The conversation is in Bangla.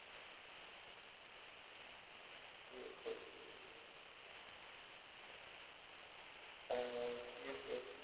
dsl